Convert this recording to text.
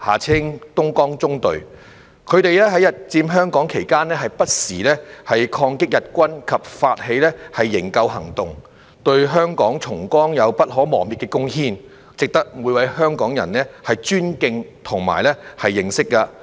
他們在日佔香港期間不時抗擊日軍及發起營救行動，對香港重光有不可磨滅的貢獻，值得每位香港人尊敬和認識。